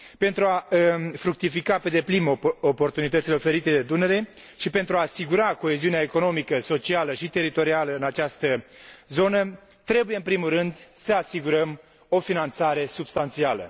Pentru a fructifica pe deplin oportunitățile oferite de Dunăre și pentru a asigura coeziunea economică, socială și teritorială în această zonă, trebuie în primul rând să asigurăm o finanțare substanțială.